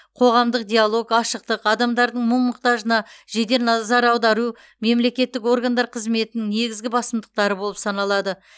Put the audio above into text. қоғамдық диалог ашықтық адамдардың мұң мұқтажына жедел назар аудару мемлекеттік органдар қызметінің негізгі басымдықтары болып саналады